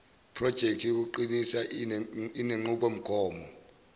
projekthi yokuqinisa inenqubomgomo